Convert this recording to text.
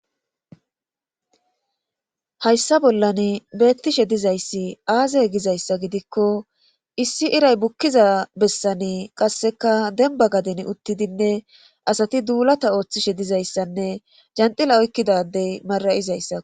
hayssa bollani beettishe dizayssi aaze gizayssa gidikko issi iray bukkiza bessani qassekka dembba gadeni uttidinne asati duulatta oottishe dizayssanne janxila oykkida adde mara7izayssa.